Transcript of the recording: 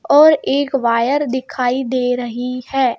और एक वायर दिखाई दे रही है.